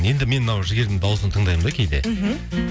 енді мен мынау жігердің дауысын тыңдаймын да кейде мхм